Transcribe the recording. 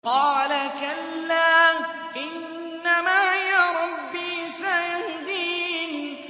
قَالَ كَلَّا ۖ إِنَّ مَعِيَ رَبِّي سَيَهْدِينِ